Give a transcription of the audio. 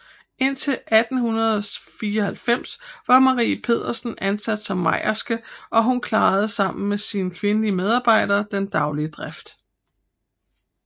Indtil 1894 var Marie Pedersen ansat som mejerske og hun klarede sammen med sine kvindelige medhjælpere den daglige drift